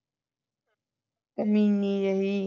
ਕਮੀਨੀ ਜਿਹੀ